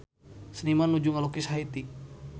Seniman nuju ngalukis Haiti